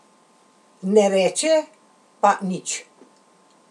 Ne reče pa nič.